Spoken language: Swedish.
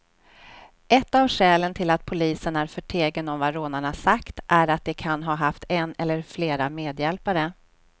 Ett av skälen till att polisen är förtegen om vad rånarna sagt är att de kan ha haft en eller flera medhjälpare.